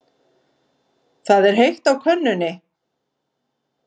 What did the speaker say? Það er heitt á könnunni.